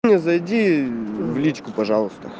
зайди в личку пожалуйста